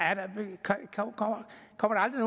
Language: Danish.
aldrig